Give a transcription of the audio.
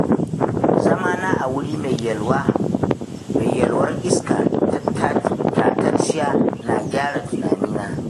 Zamana a wuri mai yalwar iska tatacciya na gyara tunanina.